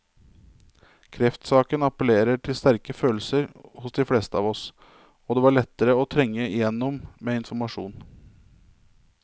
Kreftsaken appellerer til sterke følelser hos de fleste av oss, og det var lettere å trenge igjennom med informasjon.